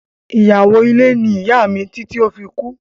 Iyawo ile ni iya mi titi o fi kú.